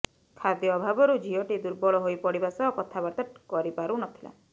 ଖାଦ୍ୟ ଅଭାବରୁ ଝିଅଟି ଦୁର୍ବଳ ହୋଇପଡିବା ସହ କଥାବାର୍ତ୍ତା କରିପାରୁ ନଥିଲା